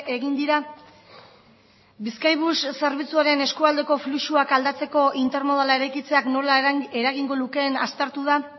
egin dira bizkaibus zerbitzuaren eskualdeko fluxuak aldatzeko intermodala eraikitzeak nola eragingo lukeen aztertu da